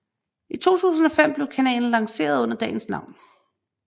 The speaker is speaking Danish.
I 2005 blev kanalen lanceret under dagens navn